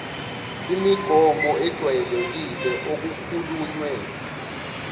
imigomo ejwayelekile okukhulunywe